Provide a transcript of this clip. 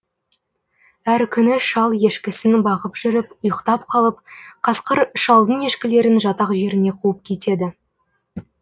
әр күні шал ешкісін бағып жүріп ұйықтап қалып қасқыр шалдың ешкілерін жатақ жеріне қуып кетеді